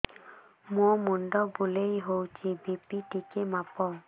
ମୋ ମୁଣ୍ଡ ବୁଲେଇ ହଉଚି ବି.ପି ଟିକେ ମାପ